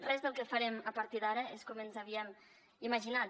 res del que farem a partir d’ara és com ens havíem imaginat